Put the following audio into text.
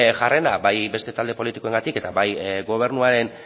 jarrera bai beste talde politikoengatik eta bai gobernuaren